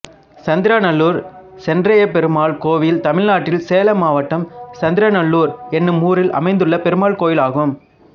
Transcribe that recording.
சந்திரநல்லூர் சென்றாய பெருமாள் கோயில் தமிழ்நாட்டில் சேலம் மாவட்டம் சந்திரநல்லூர் என்னும் ஊரில் அமைந்துள்ள பெருமாள் கோயிலாகும்